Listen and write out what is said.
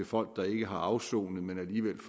folk der ikke har afsonet men alligevel